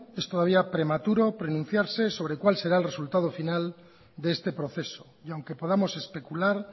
es todavía prematuro pronunciarse sobre cuál será el resultado final de este proceso y aunque podamos especular